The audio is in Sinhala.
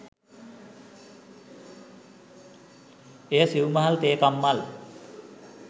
එය සිවු මහල් තේ කම්හල්